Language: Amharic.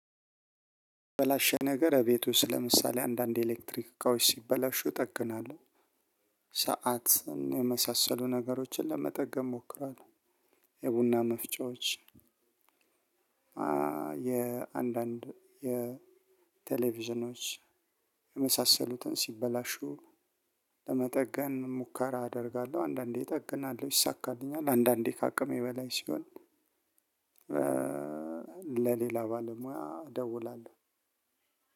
በላሸ ነገር እቤቱ ስለምሳሌ አንዳንድ ኤሌክትሪክ እቃዎች ሲበላሹ እጠግናለሁ፣ ሰዓትን የመሳሰሉ ነገሮችን ለመጠገን እሞክራለሁ። የቡና መፍጨዎች የአንዳንድ የቴሌቪዥኖች የመሳሰሉትን ሲበላሹ ለመጠገን ሙከራ አደርጋለሁ አንዳንዴ እጠግናለሁ ይይሳካልኛል አንዳንዴ ከአቅሜ በላይ ሲሆን ለሌላ ባለሙያ እደውላለሁ።